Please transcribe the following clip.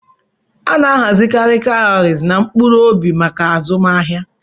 A na-ahazikarị cowries na "mkpuru-obi maka azụmahịa."